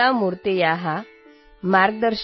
मम नाम गङ्गा